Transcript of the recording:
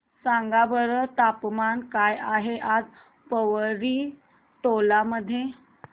सांगा बरं तापमान काय आहे आज पोवरी टोला मध्ये